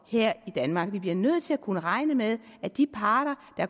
her i danmark vi bliver nødt til at kunne regne med at de parter der